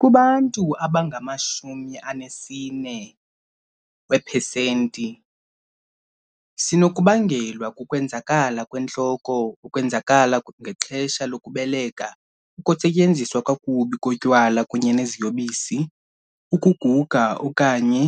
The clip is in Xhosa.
Kubantu abangama-40 weepesenti, sinokubangelwa kukwenzakala kwentloko, ukwenzakala ngexesha lokubeleka, ukusetyenziswa kakubi kotywala kunye neziyobisi, ukuguga okanye